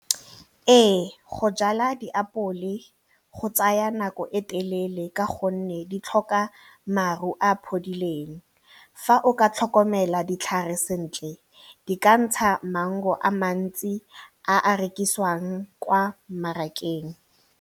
Ee go jala diapole go tsaya nako e telele ka gonne di tlhoka maru a phodileng, fa o ka tlhokomela ditlhare sentle di ka ntsha maungo a mantsi a a rekisiwang kwa mmarakeng.